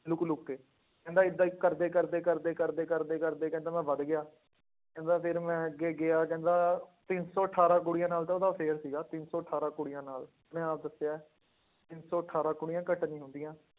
Look ਲੁੱਕ ਕੇ ਕਹਿੰਦਾ ਏਦਾਂ ਹੀ ਕਰਦੇ ਕਰਦੇ ਕਰਦੇ ਕਰਦੇ ਕਰਦੇ ਕਰਦੇ ਕਹਿੰਦਾ ਮੈਂ ਵੱਧ ਗਿਆ, ਕਹਿੰਦਾ ਫਿਰ ਮੈਂ ਅੱਗੇ ਗਿਆ ਕਹਿੰਦਾ ਤਿੰਨ ਸੌ ਅਠਾਰਾਂ ਕੁੜੀਆਂ ਨਾਲ ਤਾਂ ਉਹਦਾ affair ਸੀਗਾ ਤਿੰਨ ਸੌ ਅਠਾਰਾਂ ਕੁੜੀਆਂ ਨਾਲ, ਉਹਨੇ ਆਪ ਦੱਸਿਆ ਹੈ, ਤਿੰਨ ਸੌ ਅਠਾਰਾਂ ਕੁੜੀਆਂ ਘੱਟ ਨੀ ਹੁੰਦੀਆਂ।